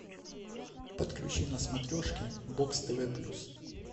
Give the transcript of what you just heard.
подключи на смотрешке бокс тв плюс